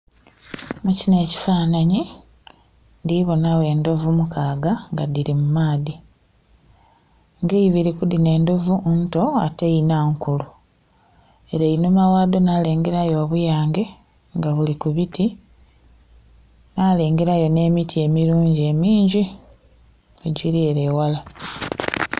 Mu kinho ekifanhanhi, ndhi bonagho endhovu mukaaga nga dhili mu maadhi. Nga eibiri ku dhino endhovu nto ate einha nkulu. Ere einhuma ghadho nalengera yo obuyange nga buli ku biti, nalengera yo nh'emiti emilungi emingi, egiri ere ewala.